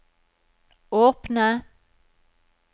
åpne